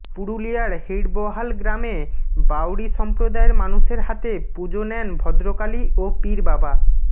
পুরুলিয়ার হিড়বহাল গ্রামে বাউরি সম্প্রদায়ের মানুষের হাতে পুজো নেন ভদ্রকালী ও পীরবাবা